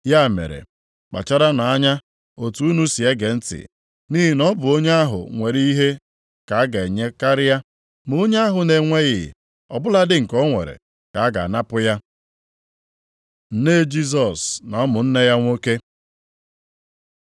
Ya mere, kpacharanụ anya otu unu si ege ntị. Nʼihi na ọ bụ onye ahụ nwere ihe ka a ga-enye karịa, ma onye ahụ na-enweghị, ọ bụladị nke o nwere, ka a ga-anapụ ya.” Nne Jisọs na ụmụnne ya nwoke